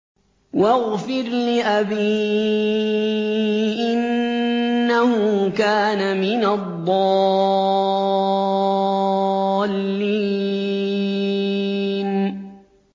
وَاغْفِرْ لِأَبِي إِنَّهُ كَانَ مِنَ الضَّالِّينَ